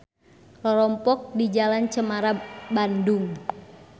Rorompok di Jl.Cemara Bandung.